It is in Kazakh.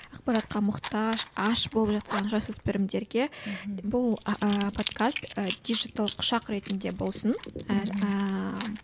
ақпаратқа мұқтаж аш болып жатқан жасөспірімдерге бұл ыыы подкаст ы дижитал құшақ ретінде болсын ааа